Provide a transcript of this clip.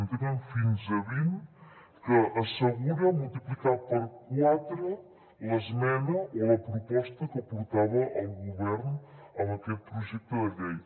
en tenen fins a vint que assegura multiplicar per quatre l’esmena o la proposta que portava el govern amb aquest projecte de llei